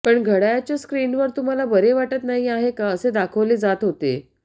पण घड्याळ्याच्या स्क्रिनवर तुम्हाला बरे वाटत नाही आहे का असे दाखवले जात होते